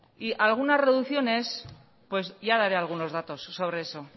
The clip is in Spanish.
y algunas reducciones pues ya daré algunos datos sobre eso